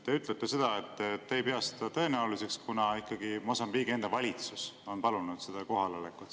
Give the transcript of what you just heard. Te ütlete, et te ei pea seda tõenäoliseks, kuna Mosambiigi enda valitsus on palunud seda kohalolekut.